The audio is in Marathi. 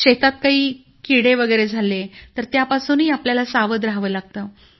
शेतात काही किडे वगैरे झाले तर त्यापासूनही आपल्याला सावध राहावं लागतं